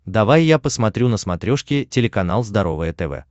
давай я посмотрю на смотрешке телеканал здоровое тв